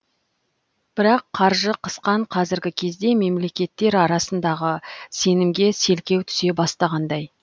бірақ қаржы қысқан қазіргі кезде мемлекеттер арасындағы сенімге селкеу түсе бастағандай